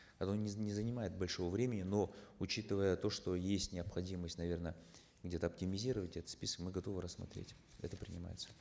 оно не занимает большого времени но учитывая то что есть необходимость наверно где то оптимизировать этот список мы готовы рассмотреть это принимается